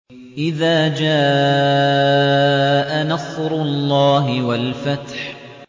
إِذَا جَاءَ نَصْرُ اللَّهِ وَالْفَتْحُ